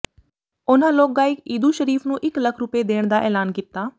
ਉਨ੍ਹਾਂ ਲੋਕ ਗਾਇਕ ਇਦੂ ਸ਼ਰੀਫ਼ ਨੂੰ ਇੱਕ ਲੱਖ ਰੁਪਏ ਦੇਣ ਦਾ ਐਲਾਨ ਕੀਤਾ